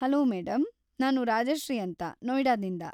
Hello madam, ನಾನ್ ರಾಜಶ್ರೀ ಅಂತ ನೋಯ್ಡಾದಿಂದ.